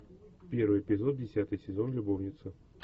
первый эпизод десятый сезон любовница